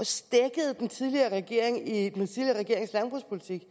stækkede den tidligere regering i den tidligere regerings landbrugspolitik